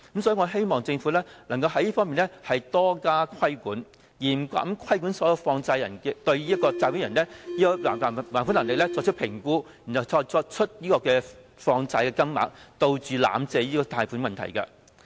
所以，我希望政府能在這方面多加規管，嚴格規管所有放債人必須對借款人的還款能力作出評估後才決定放債金額，以杜絕濫發貸款的問題。